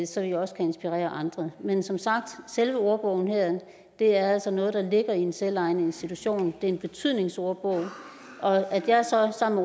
så vi også kan inspirere andre men som sagt selve ordbogen her er altså noget der ligger i en selvejende institution og en betydningsordbog at jeg så sammen